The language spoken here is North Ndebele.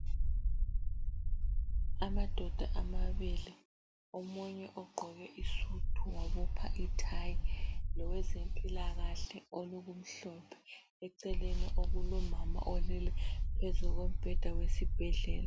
Amadoda amabili omunye ogqoke isudu wabopha ithayi, lowezempilakahle olokumhlophe .Eceleni okulomama olele phezu kombheda wesibhedlela.